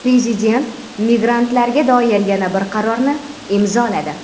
Prezident migrantlarga doir yana bir qarorni imzoladi.